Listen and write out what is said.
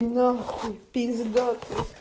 нахуи пиздос